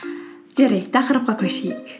жарайды тақырыпқа көшейік